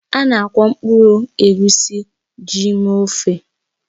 Ana akwọ mkpụrụ egusi ji mee ofe